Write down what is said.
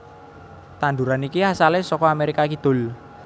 Tanduran iki asalé saka Amérika Kidul